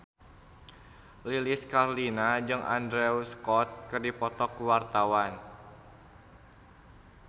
Lilis Karlina jeung Andrew Scott keur dipoto ku wartawan